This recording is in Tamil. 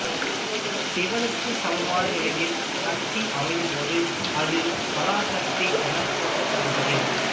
சிவனுக்கு சமமான நிலையில் சக்திஅமையும் போது அது பராசக்தி எனப்போற்றப்படுகின்றது